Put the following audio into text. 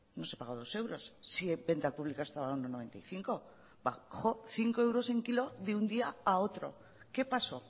no se pagó dos euros si en venta al público estaba a uno coma noventa y cinco bajó cinco euros el kilo de un día a otro qué pasó